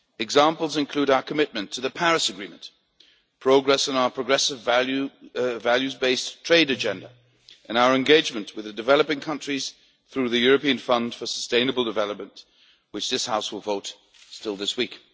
Examples include our commitment to the Paris Agreement, progress on our progressive, values based trade agenda, and our engagement with developing countries through the European Fund for Sustainable Development on which the House will vote this week.